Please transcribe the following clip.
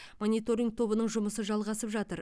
мониторинг тобының жұмысы жалғасып жатыр